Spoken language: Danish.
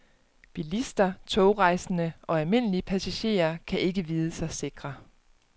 Bilister, togrejsende og almindelige passagerer kan ikke vide sig sikre.